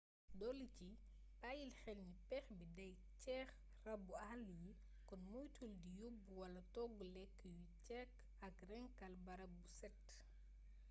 dolici bayil xelni péex bi day xëcc rabbu àll yi kon moytul di yobbu wala toggu lëkk yuy xëcc ak rënkal barap bu set